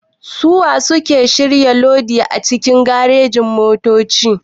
Suwa suke shirya lodi a cikin garejin-motoci?